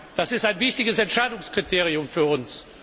Das ist ein wichtiges Entscheidungskriterium für uns.